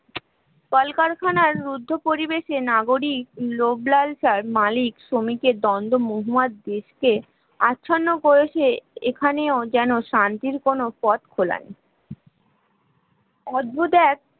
কলকারখানার বুদ্ধ পরিবেশে নাগরিক লোভ-লালসার মালিক-শ্রমিকের আচ্ছন্ন কেরেস এখানেও যেন শান্তির কোন পথ খোলা নেই অদ্ভুত এক!